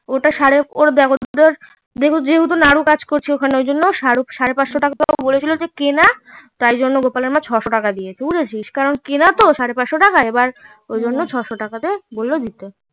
যেহেতু নাড়ু কাজ করছে ওখানে ঐজন্য সাড়ে পাঁচশো টাকাটা বলেছিলো যে কেনা তাই জন্য গোপালের মা ছয়শো টাকা দিয়েছে বুঝছিস কারণ কেনা তো সাড়ে পাঁচশো টাকায় ওই জন্য ছয়শো টাকা বললো দিতে